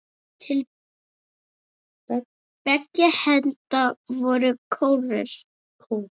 Til beggja enda voru kórar.